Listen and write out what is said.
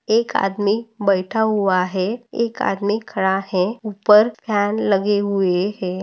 एक आदमी बैठा हुआ है एक आदमी खड़ा है उपर फ़ैन लगे हुए है।